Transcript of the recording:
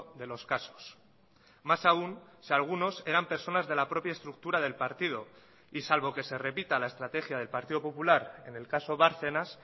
de los casos más aún si algunos eran personas de la propia estructura del partido y salvo que se repita la estrategia del partido popular en el caso bárcenas